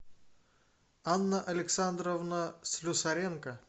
анна александровна слюсаренко